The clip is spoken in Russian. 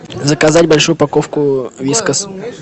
заказать большую упаковку вискас